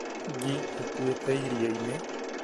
Ngi ĩkuĩte irioinĩ